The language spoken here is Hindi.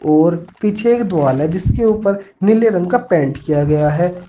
और पीछे एक द्वाल है जिसके ऊपर नीले रंग का पेंट किया गया है।